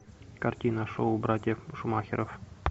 картина шоу братьев шумахеров